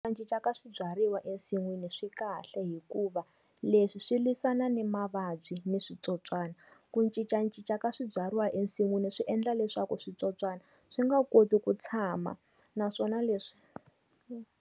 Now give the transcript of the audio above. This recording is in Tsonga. Ku cincacinca ka swibyariwa emasin'wini swi kahle hikuva leswi swi lwisana ni mavabyi ni switsotswana. Ku cincacinca ka swibyariwa ensin'wini swi endla leswaku switsotswana swi nga koti ku tshama naswona leswi.